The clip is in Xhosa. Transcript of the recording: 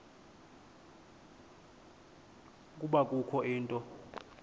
ukuba kukho into